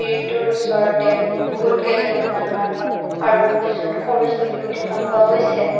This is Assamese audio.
ওচৰতে বহুতকেইজনীমান মানুহ আৰু দুজন সৰু চলীও দেখা পোৱা গৈছে।